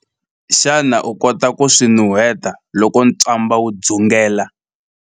Xana u kota ku swi nuheta loko ntswamba wu dzungela?